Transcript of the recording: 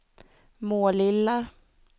Målilla